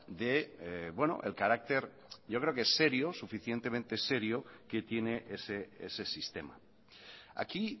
del carácter yo creo que suficientemente serio que tiene ese sistema aquí